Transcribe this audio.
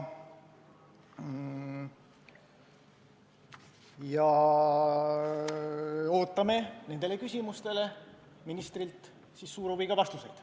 Ootame ministrilt nendele küsimustele suure huviga vastuseid.